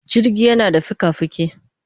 Jirgi yana da fika-fiki.